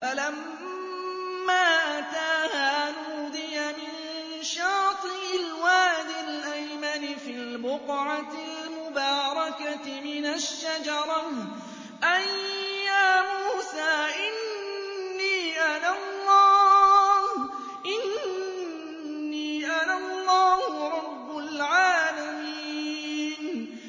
فَلَمَّا أَتَاهَا نُودِيَ مِن شَاطِئِ الْوَادِ الْأَيْمَنِ فِي الْبُقْعَةِ الْمُبَارَكَةِ مِنَ الشَّجَرَةِ أَن يَا مُوسَىٰ إِنِّي أَنَا اللَّهُ رَبُّ الْعَالَمِينَ